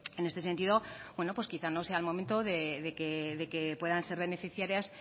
en ese sentido quizá no sea el momento de que puedan ser beneficiarias